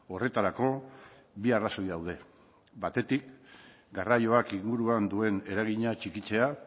horretarako bi arrazoi daude batetik garraioak inguruan duen eragina txikitzea